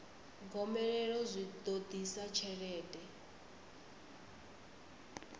gomelelo zwi ḓo ḓisa tshelede